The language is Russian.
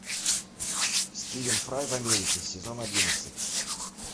стивен фрай в америке сезон одиннадцать